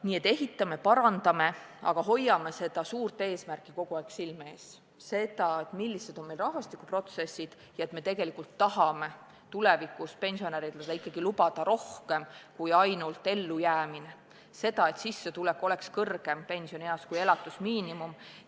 Nii et ehitame ja parandame, aga hoiame suurt eesmärki kogu aeg silme ees – seda, millised on meie rahvastikuprotsessid ja et tegelikult me tahame tulevikus pensionäridele võimaldada ikkagi rohkemat kui ainult ellujäämist; seda, et sissetulek oleks pensionieas suurem kui elatusmiinimum.